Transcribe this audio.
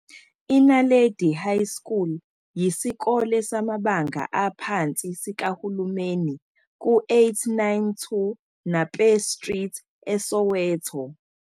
I-Naledi High School yisikole samabanga aphansi sikahulumeni ku-892 Nape Street eSoweto.